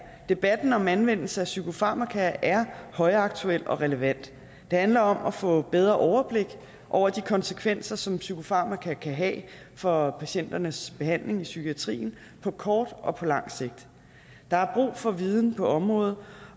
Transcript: debatten om anvendelse af psykofarmaka er højaktuel og relevant det handler om at få bedre overblik over de konsekvenser som psykofarmaka kan have for patienternes behandling i psykiatrien på kort og på lang sigt der er brug for viden på området